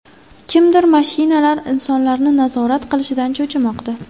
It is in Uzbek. Kimdir mashinalar insonlarni nazorat qilishidan cho‘chimoqda.